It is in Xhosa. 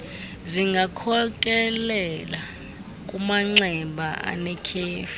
zingakhokelela kumanxeba anetyhefu